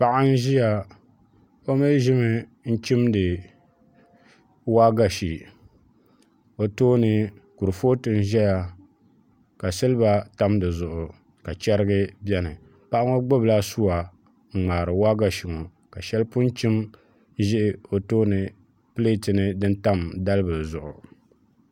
Paɣa n ʒiya o mii ʒimi n chimdi waagashe o tooni kurifooti n ʒɛya ka silba tam di zuɣu ka chɛrigi bɛni paɣa ŋo gbubila suwa n ŋmaari waagashe ŋo ka shɛli pun chim ʒɛ o tooni pileet ni din tam dalbili zuɣu